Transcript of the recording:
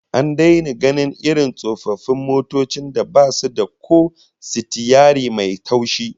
An daina gainin irin tsofaffin motocin da basu da ko sitiyari mai taushi